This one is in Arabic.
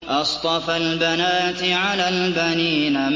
أَصْطَفَى الْبَنَاتِ عَلَى الْبَنِينَ